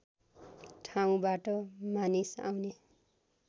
ठाउँबाट मानिस आउने